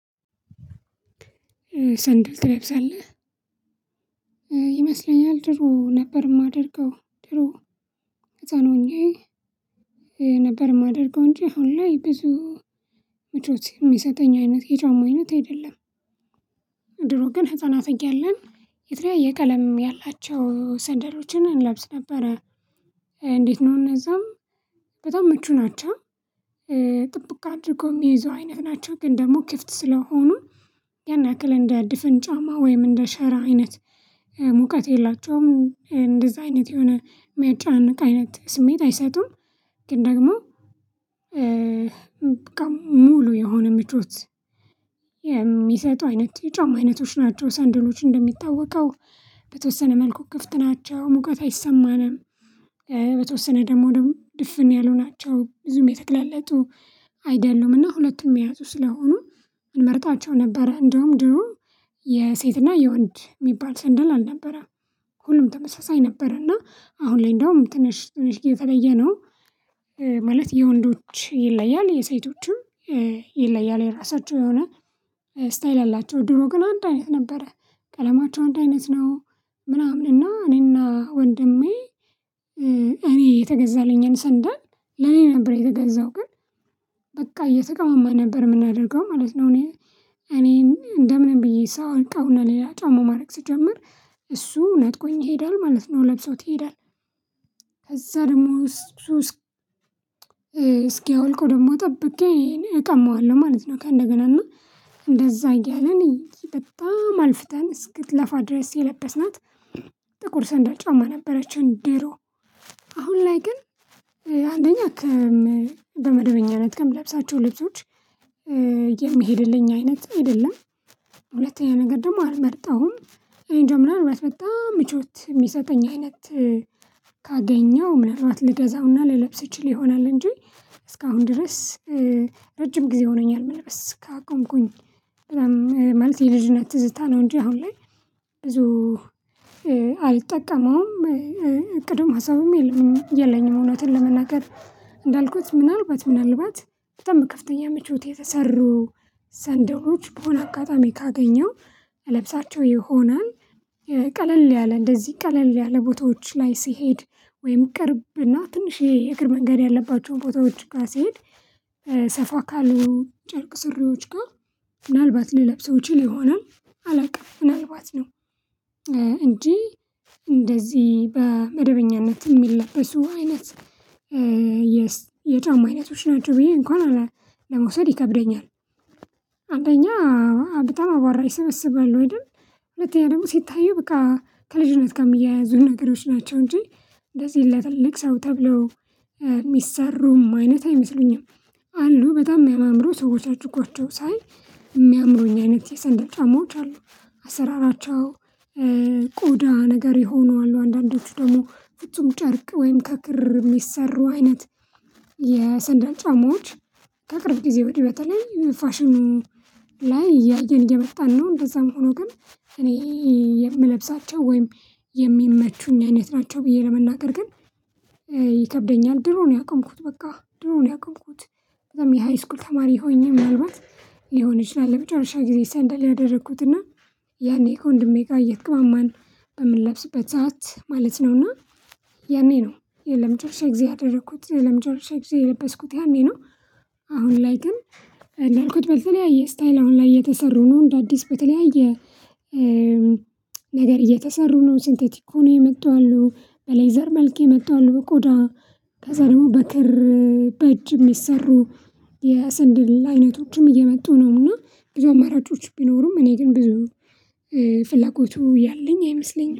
ሰንደል ትለብሳለህ ይመስለኛል ድሮ ነበር እማደርገው ድሮ ህፃን ሆኜ ነበር እማደርገው እንጂ አሁን ላይ ብዙ ምቾት የሚሰጠኝ አይነት የጫማ አይነት አይደለም። ድሮ ግን ህፃናት እያለን የተለያየ ቀለም ያላቸው ሰንደሎችን እንለብስ ነበረ እንዴት ነው እነዛም በጣም ምቹ ናቸው። ጥብቅ አድርጎ እሚይዙ አይነት ናቸው ግን ደሞ ክፍት ስለሆኑ ያን ያክል እንደ ድፍን ጫማ ወይም እንደ ሸራ አይነት ሙቀት የላቸውም እንደዛ አይነት የሆነ እሚያጨናንቅ አይነት ስሜት አይሰጡም። ግን ደግሞ ሙሉ የሆነ ምቾት የሚሰጡ አይነት የጫማ አይነቶች ናቸው። ሰንደሎች እንደሚታወቀው በተወሰነ መልኩ ክፍት ናቸው ሙቀት አይሰማንም በተወሰነ ደሞ ደሞ ድፍን ያሉ ናቸው ብዙም የተገላለጡ አይደሉምና ሁለቱም የያዙ ስለሆኑ እንመርጣቸው ነበር። እንደውም ድሮ የሴትና የወንድ እሚባል ሰንደል አልነበረም። ሁሉም ተመሳሳይ ነበርና አሁን ላይ እንደውም ትንሽ ትንሽ የተለየ ነው ማለት የወንዶች ይለያል የሴቶቹም ይለያል የራሳቸው የሆነ ስታይል አላቸው። ድሮ ግን አንድ አይነት ነበረ ቀለማቸው አንድ አይነት ነው ምናምን እና እኔና ወንድሜ እኔ የተገዛልኝን ሰንደል ለኔ ነበር የተገዛው ግን በቃ እየተቀማማን ነበር ምናደርገው ማለት ነው። እኔ እኔን እንደምንም ብዬ ሳወልቀዉና ሌላ ጫማ ማረግ ስጀምር እሱ ነጥቆኝ ይሄዳል ማለት ነው ለብሶት ይሄዳል። ከዛ ደሞ ሱስ እስኪያወልቀው ደሞ ጠብቄ እቀማዋለው ማለት ነው። ከእንደገና እና እንደዛ እያልን እኔ በጣም አልፍተን እስክትለፋ ድረስ የለበስናት ጥቁር ሰንደር ጫማ ነበረችኝ። ዲሮ አሁን ላይ ግን አንደኛ በመደበኛነት ከምለብሳቸው ልብሶች የሚሄድልኝ አይነት አይደለም። ሁለተኛ ነገር ደሞ አልመርጠውም እኔንጃ ምናልባት በጣም ምቾት የሚሰጠኝ አይነት ካገኘው ምናልባት ልገዛውና ልለብስ እችል ይሆናል እንጂ እስካሁን ድረስ ረጅም ጊዜ ሆኖኛል። መልበስ ካቆምኩኝ በጣም ማለት የልጅነት ትዝታ ነው እንጂ አሁን ላይ ብዙ አልጠቀመዉም። እቅድም ሀሳብም የለኝም የለኝም እውነትን ለመናገር እንዳልኩት ምናልባት ምናልባት በጣም ከፍተኛ መቼት የተሰሩ ሰንደሎች በሆነ አጋጣሚ ካገኘው እለብሳቸው ይሆናል። ቀለል ያለ እንደዚህ ቀለል ያለ ቦታዎች ላይ ሲሄድ ወይም ቅርብና ትንሽዬ የእግር መንገድ ያለባቸው ቦታዎች ጋ ሲሄድ ሰፋ ካሉ ጨርቅ ስሪዎች ጋ ምናልባት ልለብሰው እችል ይሆናል አላቅም ምናልባት ነው። እንጂ እንደዚህ በመደበኛነት የሚለበሱ አይነት የጫማ አይነቶች ናቸው ብዬ እንኳን ለመውሰድ ይከብደኛል። አንደኛ በጣም አራቧራ ይሰበስባል ወይ ደግሞ ሁለተኛ ደግሞ ሲታየው በቃ ከልጅነት ጋ እሚያያዙ ነገሮች ናቸው እንጂ እንደዚህ ለትልልቅ ሰው ተብለው እሚሰሩም አይነት አይመስሉኝም። አሉ በጣም እሚያማምሩ ሰዎች አድርጓቸው ሳይ እሚያምሩኝ አይነት የሰንደል ጫማዎች አሉ። አሰራራቸው ቆዳ ነገር የሆኑ አሉ አንዳንዶቹ ደሞ ፍጹም ጨርቅ ወይም ከክር እሚሰሩ አይነት የሰንደል ጫማዎች ከቅርብ ጊዜ ወዲህ በተለይ ፋሽኑ ላይ እያየን እየመጣን ነው። እንደዛም ሆኖ ግን እኔ የምለብሳቸው ወይም የሚመቹኝ አይነት ናቸው ብዬ ለመናገር ግን ይከብደኛል። ድሮ ነው ያቆምኩት በቃ ድሮ ነው ያቆምኩት። ለዛም የሃይስኩል ተማሪ ሆኜ ምናልባት ሊሆን ይችላል ለመጨረሻ ጊዜ ሰንደል ያደረኩትና ያኔ ከወንድሜ ጋር እየተቀማማን በምንለብስበት ሰዓት ማለት ነው። እና ያኔ ነው ለመጨረሻ ጊዜ ያደረኩት ለመጨረሻ ጊዜ የለበስኩት ያኔ ነው። አሁን ላይ ግን እንዳልኩት በተለያየ ስታይል አሁን ላይ እየተሰሩ ነው እንደ አዲስ በተለያየ ነገር እየተሰሩ ነው። ሴንቴቲክ ሆነው የመጡ አሉ በሌዘር መልክ የመጡ አሉ በቆዳ ከዛ ደግሞ በክር በእጅ የሚሰሩ የስንድል አይነቶችም እየመጡ ነውና ብዙ አማራጮች ቢኖሩም እኔ ግን ብዙ ፍላጎቱ ያለኝ አይመስለኝም